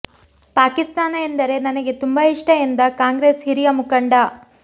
ಪಾಕಿಸ್ತಾನ ಎಂದರೆ ನನಗೆ ತುಂಬ ಇಷ್ಟ ಎಂದ ಕಾಂಗ್ರೆಸ್ ಹಿರಿಯ ಮುಖಂಡ